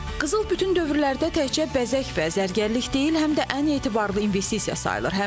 Qızıl bütün dövrlərdə təkcə bəzək və zərgərlik deyil, həm də ən etibarlı investisiya sayılır.